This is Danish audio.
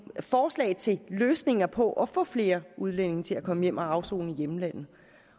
forslag til løsninger på at få flere udlændinge til at komme hjem at afsone i hjemlandet